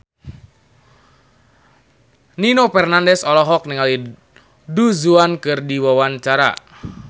Nino Fernandez olohok ningali Du Juan keur diwawancara